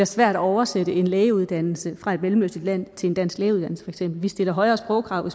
svært at oversætte en lægeuddannelse fra et mellemøstligt land til en dansk lægeuddannelse vi stiller højere sprogkrav